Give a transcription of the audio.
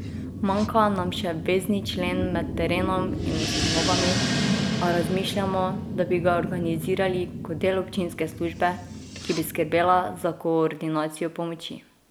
Manjka nam še vezni člen med terenom in ustanovami, a razmišljamo, da bi ga organizirali kot del občinske službe, ki bi skrbela za koordinacijo pomoči.